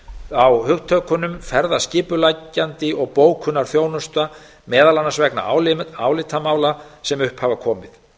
á hugtökunum ferðaskipuleggjandi og bókunarþjónusta meðal annars vegna álitamála sem upp hafa komið